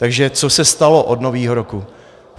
Takže co se stalo od Nového roku?